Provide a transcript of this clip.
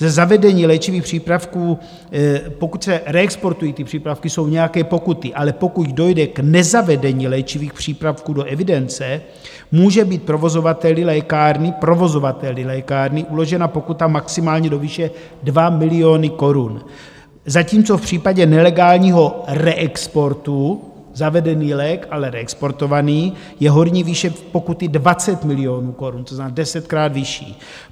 Ze zavedení léčivých přípravků, pokud se reexportují ty přípravky, jsou nějaké pokuty, ale pokud dojde k nezavedení léčivých přípravků do evidence, může být provozovateli lékárny, provozovateli lékárny , uložena pokuta maximálně do výše 2 miliony korun, zatímco v případě nelegálního reexportu zavedený lék, ale reexportovaný, je horní výše pokuty 20 milionů korun, to znamená desetkrát vyšší.